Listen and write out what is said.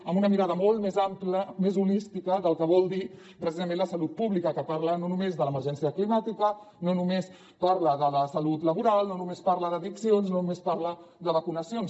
amb una mirada molt més ampla més holística del que vol dir precisament la salut pública que parla no només de l’emergència climàtica no només parla de la salut laboral no només parla d’addiccions no només parla de vacunacions